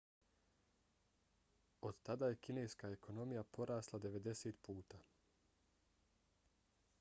od tada je kineska ekonomija porasla 90 puta